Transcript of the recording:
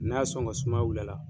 N'a y'a sɔn ka sumaya wil'a la